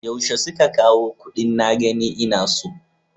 Yaushe suka kawo kuɗin na gani ina so?